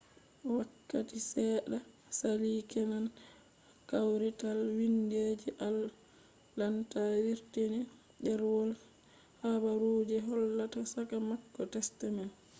wakkati seɗɗa saali kenan kawrital windi je atlanta wurtini ɗerwol habaru je hollata saka mako test man